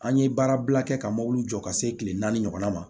An ye baara bila kɛ ka mɔbili jɔ ka se kile naani ɲɔgɔnna ma